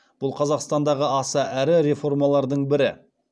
бұл қазақстандағы аса ірі реформалардың бірі